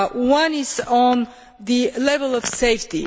One is on the level of safety.